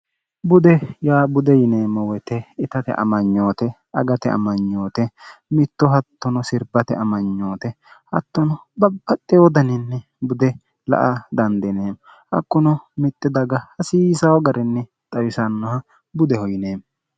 bude yaa bude yineemmo woyite itate amanyoote agate amanyoote mitto hattono sirbate amanyoote hattono babbaxxe wodaninni bude la a dandineemmo hakkuno mitti daga hasiisao garinni xawisannoha budeho yineemmo